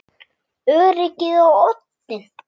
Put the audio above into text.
Öryggið á oddinn!